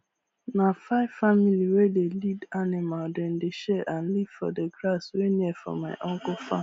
na five family wey dey lead animal dem dey share and live for d grass wey near for my uncle farm